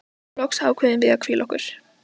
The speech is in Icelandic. Loks ákváðum við að hvíla okkur.